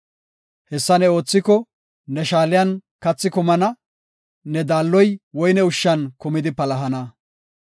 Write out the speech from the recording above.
Hessa ne oothiko, ne shaaliyan kathi kumana; ne daalloy woyne ushshan kumidi palahana.